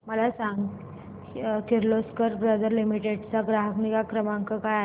मला सांग Kirloskar brother limited चा ग्राहक निगा क्रमांक काय आहे